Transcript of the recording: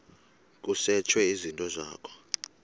kusetshwe izinto zakho